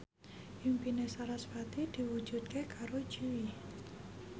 impine sarasvati diwujudke karo Jui